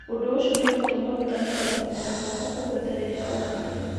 ũndũ ũcio nĩũgũtuma gũtanuka na kũmeria gwaku kũhũthe rĩrĩa ũrarĩa